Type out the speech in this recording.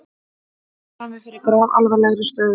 Við stöndum frammi fyrir grafalvarlegri stöðu